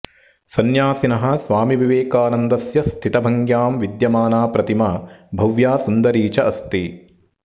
सन्यासिनः स्वामिविवेकानन्दस्य स्थितभङ्ग्यां विद्यमाना प्रतिमा भव्या सुन्दरी च अस्ति